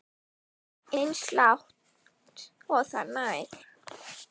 Eins langt og það nær.